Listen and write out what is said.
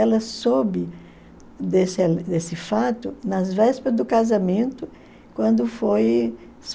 Ela soube desse desse fato nas vésperas do casamento, quando foi